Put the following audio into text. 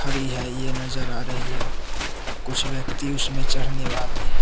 यह नजर आ रही है कुछ व्यक्ति उसमें चढ़ने वाले हैं।